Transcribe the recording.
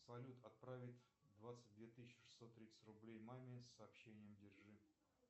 салют отправить двадцать две тысячи шестьсот тридцать рублей маме с сообщением держи